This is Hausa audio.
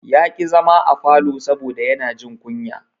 Ya ƙi zama a falo saboda yana jin kunya.